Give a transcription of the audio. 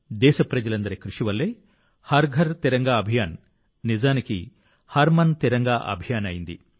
దేశప్రజలందరి కృషి వల్లే హర్ ఘర్ తిరంగా అభియాన్ నిజానికి హర్ మన్ తిరంగా అభియాన్ అయింది